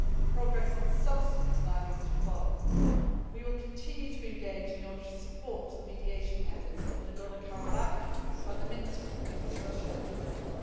Progress on substance now needs to follow. We will continue to engage in order to support the mediation efforts over Nagorno Karabakh by the Minsk Group, in which Russia is a member.